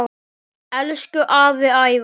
Elsku afi Ævar.